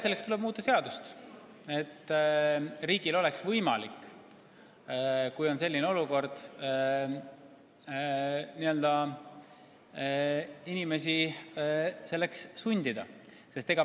Selleks tuleb muuta seadust, et riigil oleks võimalik, kui on selline olukord, inimesi selleks sundida.